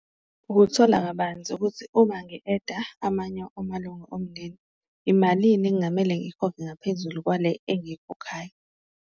Ukuthola kabanzi ukuthi uma ngi-eda amanye omalunga omndeni imalini ekungamele ngiyikhokhe ngaphezulu kwale engiyikhokhayo.